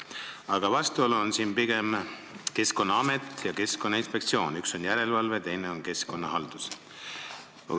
Aga vastuolu on pigem see: Keskkonnaamet ja Keskkonnainspektsioon, üks tegeleb järelevalvega, teine keskkonnahaldusega.